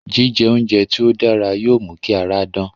Jíjẹ oúnjẹ tí ó dára yóò mú kí ara dán